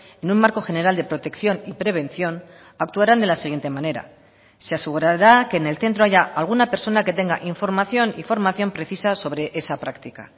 en un marco general de protección y prevención actuarán de la siguiente manera se asegurará que en el centro haya alguna persona que tenga información y formación precisa sobre esa práctica